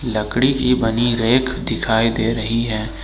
लकड़ी की बनी रैक दिखाई दे रही है।